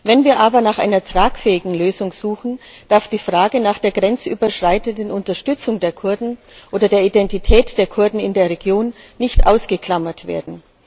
Wenn wir aber nach einer tragfähigen Lösung suchen, darf die Frage nach der grenzüberschreitenden Unterstützung der Kurden oder der Identität der Kurden in der Region nicht ausgeklammert werden.